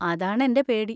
അതാണ് എൻ്റെ പേടി.